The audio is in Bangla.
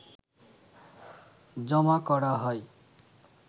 জমা করা হয়